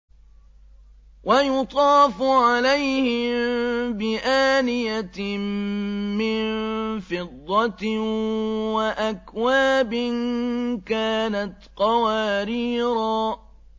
وَيُطَافُ عَلَيْهِم بِآنِيَةٍ مِّن فِضَّةٍ وَأَكْوَابٍ كَانَتْ قَوَارِيرَا